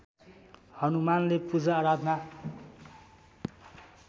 हनुमानले पूजाआराधना